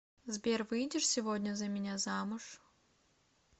сбер выйдешь сегодня за меня замуж